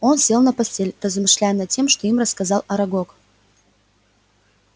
он сел на постель размышляя над тем что им рассказал арагог